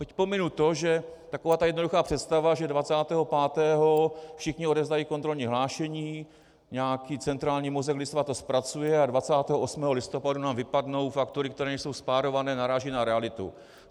Teď pominu to, že taková ta jednoduchá představa, že 25. všichni odevzdají kontrolní hlášení, nějaký centrální mozek lidstva to zpracuje a 28. listopadu nám vypadnou faktury, které nejsou spárované, naráží na realitu.